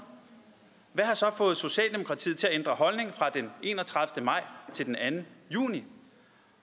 hvad har så fået socialdemokratiet til at ændre holdning fra den enogtredivete maj til den anden juni